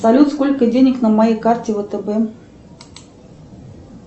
салют сколько денег на моей карте втб